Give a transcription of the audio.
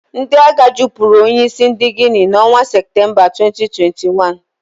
Ndị agha jupuru onye isi ndị Guinea n'onwa September 2021.